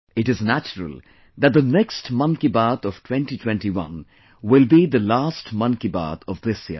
It is natural that the next 'Mann Ki Baat' of 2021 will be the last 'Mann Ki Baat' of this year